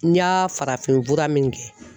N ɲa farafinfura min kɛ